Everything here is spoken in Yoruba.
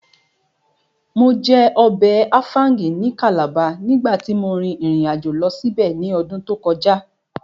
Mo jẹ ọbẹ̀ áfáúngì ní Calabar nígbàtí mo rìn ìrìnàjò lọ síbẹ̀ ní ọdún tó kọjá